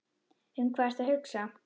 Um hvað ertu að hugsa?